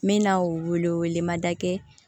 N bɛ n'a weele wele ma da kɛ